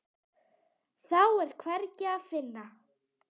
Þá er hvergi að finna.